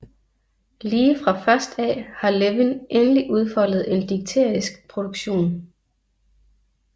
Lige fra først af har Levin endelig udfoldet en digterisk produktion